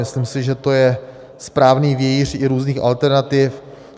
Myslím si, že to je správný vějíř i různých alternativ.